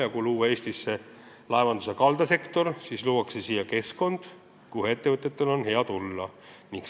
Ja kui Eestisse tuleb laevanduse kaldasektor, siis luuakse siia keskkond, kuhu ettevõtjatel on hea tulla.